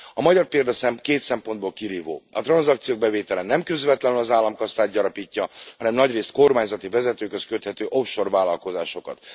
A magyar példa két szempontból kirívó a tranzakciók bevétele nem közvetlenül az államkasszát gyarapítja, hanem nagyrészt kormányzati vezetőkhöz köthető off shore vállalkozásokat.